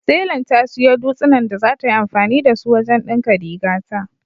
Telan ta siyo dutsinan da zata yi anfani da su wajen ɗinka rigata.